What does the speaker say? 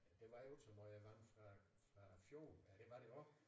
Det var jo det høje vand fra fra fjorden ja dte var det også